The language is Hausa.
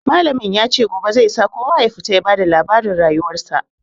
Malamin ya ce gobe zai sa kowa ya fito ya ba da labarin rayuwarsa.